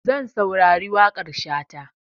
Zan saurari waƙar Shata.